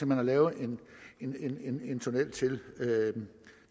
man har lavet en tunnel til